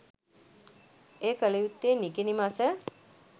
එය කළ යුත්තේ නිකිණි මස